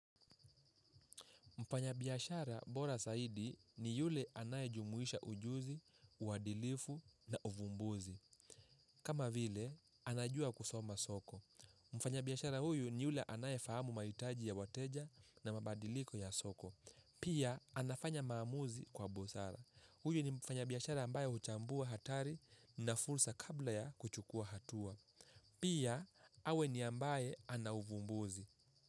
Mfanya biashara bora zaidi ni yule anayejumuisha ujuzi, uadilifu na uvumbuzi. Kama vile, anajua kusoma soko. Mfanya biashara huyu ni yule anayefahamu mahitaji ya wateja na mabadiliko ya soko. Pia, anafanya maamuzi kwa busara. Huyu ni mfanya biashara ambaye huchambua hatari na fursa kabla ya kuchukua hatua. Pia, awe ni ambaye ana uvumbuzi.